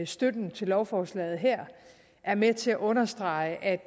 støtten til lovforslaget her er med til at understrege at